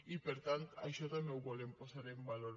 i per tant això també ho volem posar en valor